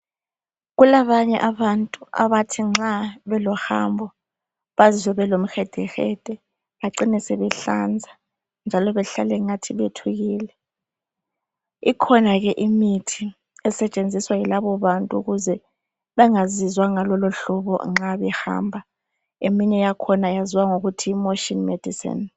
Kulabanye abantu abathi nxa belohambo bazwe belo mhedehede bacine sebehlanza njalo behlale engathi bethukile .Ikhona ke imithi esetshenziswa yilabo bantu ukuze bangazizwa ngalolo hlobo nxa behamba .Eminye yakhona yaziwa ngokuthi motion medicine .